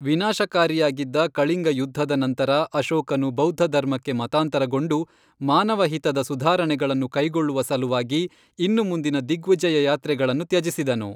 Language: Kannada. ವಿನಾಶಕಾರಿಯಾಗಿದ್ದ ಕಳಿಂಗ ಯುದ್ಧದ ನಂತರ ಅಶೋಕನು ಬೌದ್ಧಧರ್ಮಕ್ಕೆ ಮತಾಂತರಗೊಂಡು, ಮಾನವಹಿತದ ಸುಧಾರಣೆಗಳನ್ನು ಕೈಗೊಳ್ಳುವ ಸಲುವಾಗಿ ಇನ್ನು ಮುಂದಿನ ದಿಗ್ವಿಜಯಯಾತ್ರೆಗಳನ್ನು ತ್ಯಜಿಸಿದನು.